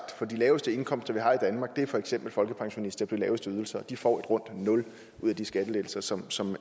for de laveste indkomster vi har i danmark er for eksempel folkepensionister på de laveste ydelser og de får et rundt nul ud af de skattelettelser som som